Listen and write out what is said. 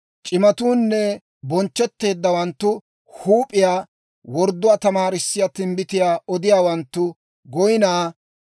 C'imatuunne bonchchetteeddawanttu huup'iyaa; wordduwaa tamaarissiyaa timbbitiyaa odiyaawanttu goyinaa.